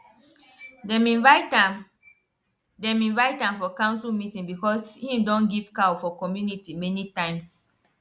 dem invite am dem invite am for council meeting because him don give cow for community many times